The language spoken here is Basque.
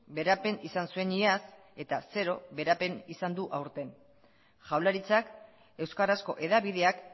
beherapen izan zuen iaz eta zero beherapen izan du aurten jaurlaritzak euskarazko hedabideak